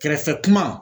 Kɛrɛfɛ kuma